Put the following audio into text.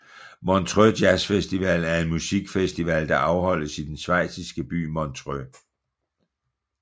Montreaux Jazzfestival er en musikfestival der afholdes i den schweiziske by Montreux